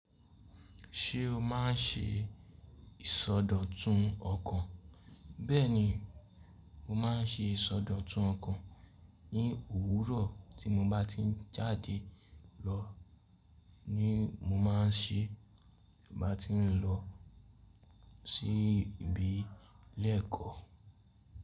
Ṣé o má n ṣe ìsọdọ̀tun ọkàn? Bẹ́ẹ̀ni, mo ma n ṣe ìsọdọ̀tun ọkàn ní òwúrọ̀ tí mo bá ti ń jáde lọ ni mo má a n ṣe bá ti n lọ sí ibi ìle ẹ̀kọ́.